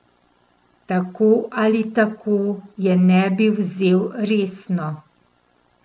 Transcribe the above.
Tako ali tako je ne bi vzel resno.